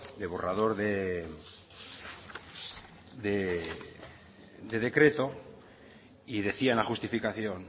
de borrador de decreto y decía en la justificación